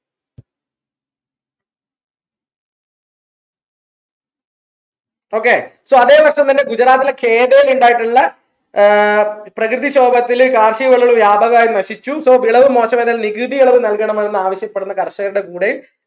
okay so അതെ വർഷം തന്നെ ഗുജറാത്തിലെ ൽ ഇണ്ടായിട്ടുള്ള ആഹ് പ്രകൃതിക്ഷോഭത്തിൽ കാർഷിക വിളകൾ വ്യാപകമായി നശിച്ചു so വിളവ് നികുതി ഇളവ് നൽകണം എന്ന് ആവശ്യപ്പെടുന്ന കർഷകരുടെ കൂടെ